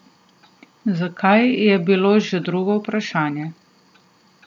Zakaj, je bilo že drugo vprašanje.